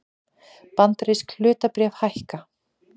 Bandarísk hlutabréf hækka